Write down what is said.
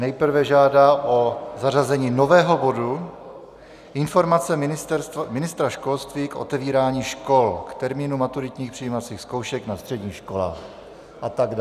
Nejprve žádá o zařazení nového bodu Informace ministra školství k otevírání škol k termínu maturitních přijímacích zkoušek na středních školách atd.